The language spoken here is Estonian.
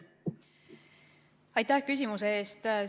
Aitäh küsimuse eest!